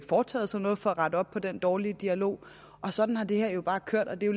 foretaget sig noget for at rette op på den dårlige dialog og sådan har det her bare kørt og det er